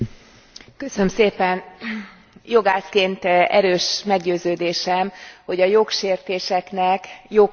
Jogászként erős meggyőződésem, hogy a jogsértéseknek jogkövetkezményük kell hogy legyen.